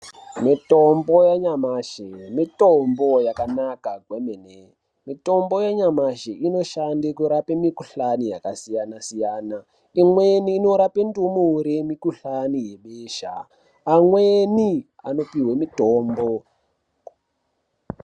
Mitombo yanyamashi mitombo yakanaka zvomene. Mitombo yanyamashi inoshande kurapa mikhuhlani yakasiyana siyana. Imweni inorape ndumure mikhuhlani yebesha. Vamweni vanopihwe mitombo.